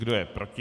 Kdo je proti?